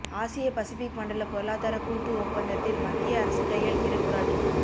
ஆசிய பசிபிக் மண்டல பொருளாதார கூட்டு ஒப்பந்தத்தில் மத்திய அரசு கையெழுத்திட கூடாது